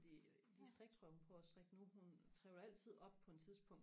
fordi de striktrøjer hun prøver og strikke nu hun trevler altid op på en tidspunkt